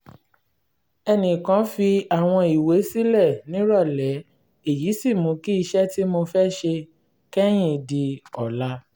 ẹnì kan fi àwọn ìwé sílẹ̀ nírọ̀lẹ́ èyí sì mú kí iṣẹ́ tí mo fẹ́ ṣe kẹ́yìn di ọ̀la